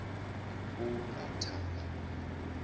unathana